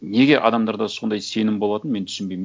неге адамдарда сондай сенім болатынын мен түсінбеймін